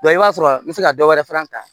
i b'a sɔrɔ n bɛ se ka dɔ wɛrɛ fana ta